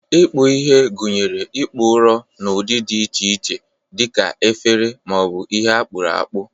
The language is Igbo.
Ikpu ihe gụnyere ịkpụ ụrọ n'ụdị dị iche iche dị ka efere ma ọ bụ ihe akpuru akpu.